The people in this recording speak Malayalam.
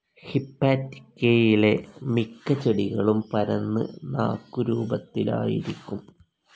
ഹിപ്പാറ്റിക്കേയിലെ മിക്ക ചെടികളും പരന്ന് നാക്കുരൂപത്തിലായിരിക്കും.